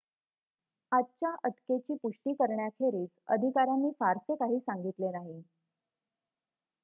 आजच्या अटकेची पुष्टि करण्याखेरीज अधिकाऱ्यांनी फारसे काही सांगितले नाही